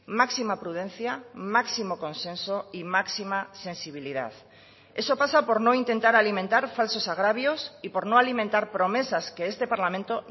máxima prudencia máximo consenso y máxima sensibilidad eso pasa por no intentar alimentar falsos agravios y por no alimentar promesas que este parlamento